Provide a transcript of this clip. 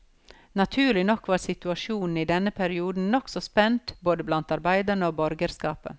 Naturlig nok var situasjonen i denne perioden nokså spent både blant arbeiderne og borgerskapet.